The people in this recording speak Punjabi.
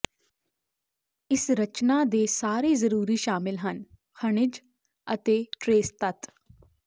ਇਸ ਰਚਨਾ ਦੇ ਸਾਰੇ ਜ਼ਰੂਰੀ ਸ਼ਾਮਿਲ ਹਨ ਖਣਿਜ ਅਤੇ ਟਰੇਸ ਤੱਤ